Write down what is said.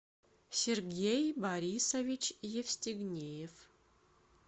сергей борисович евстигнеев